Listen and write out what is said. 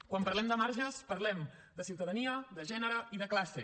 quan parlem de marges parlem de ciutadania de gènere i de classe